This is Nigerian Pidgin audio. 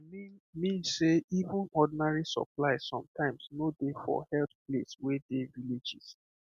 i mean mean sey even ordinary supplies sometimes no dey for health place wey dey villages